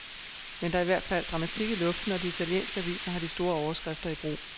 Men der er i hvert fald dramatik i luften, og de italienske aviser har de store overskrifter i brug.